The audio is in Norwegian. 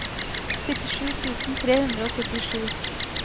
syttisju tusen tre hundre og syttisju